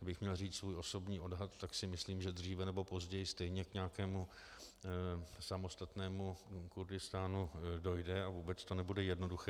Kdybych měl říct svůj osobní odhad, tak si myslím, že dříve nebo později stejně k nějakému samostatnému Kurdistánu dojde a vůbec to nebude jednoduché.